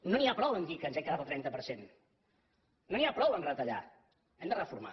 no n’hi ha prou a dir que ens hem quedat al trenta per cent no n’hi ha prou a retallar hem de reformar